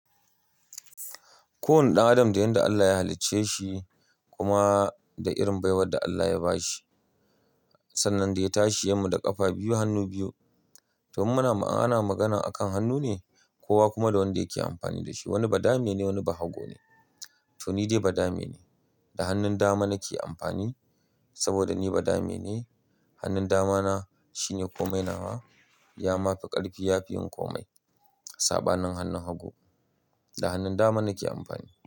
Kowane ɗan adam da yadda Allah ya halicce shi kuma da irin baiwar da Allah ya ba shi. Sannan da ya tashi yayi mu da ƙafa biyu hannu biyu. To muna ana magana akan hannu ne, kowa kuma da wanda yake amfani da shi. Wani badame ne, wani bahago ne. To ni dai badame ne, da hannun dama nake amfani saboda ni badame ne. Hannun dama na shine komai na wa. Ya ma fi ƙarfi, ya fi yin komai. Saɓa nin hannun hagu. Da hannun dama nake amfani.